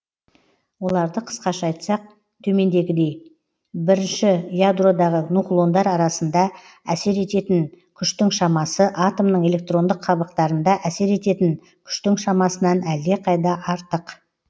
оларды қысқаша айтсақ төмендегідей бірінші ядродағы нуклондар арасында әсер ететін күштің шамасы атомның электрондық қабықтарында әсер ететін күштің шамасынан әлдеқайда артық